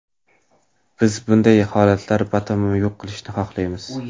Biz bunday holatlar batamom yo‘q bo‘lishini xohlaymiz.